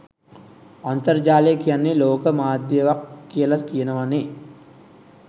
අන්තර්ජාලය කියන්නේ ලෝක මාධ්යවක් කියල කියනවනේ